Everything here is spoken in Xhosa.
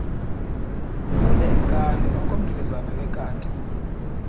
uneenkani okomdlezana wekati